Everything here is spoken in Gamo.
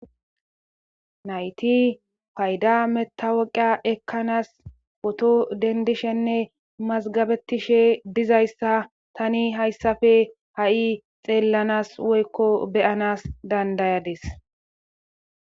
nayti payda metawoqa ekkanas woto dendishenne mazgabetishe dizayssa tani hayssafe ha7i xeellanas woykko beyanas dandayades